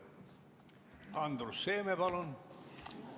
Andrus Seeme, palun!